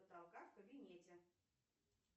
потолка в кабинете